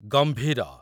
ଗମ୍ଭୀର